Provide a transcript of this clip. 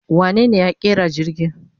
Wanene ya ƙera jirgi?